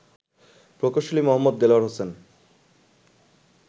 প্রকৌশলী মো. দেলোয়ার হোসেন